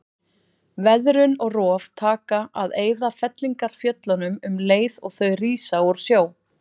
Veðrun og rof taka að eyða fellingafjöllunum um leið og þau rísa úr sjó.